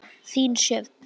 Þín, Sjöfn.